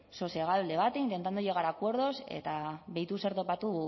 sosegado el debate intentando llegar a acuerdos eta begiratu zer topatu